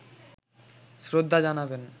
শ্রদ্ধা জানাবেন